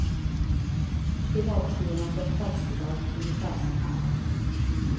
Privatskolorna får statsbidrag, ungefär som här.